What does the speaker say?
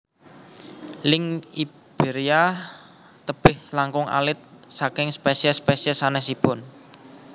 Lynx Iberia tebih langkung alit saking spesies spesies sanesipun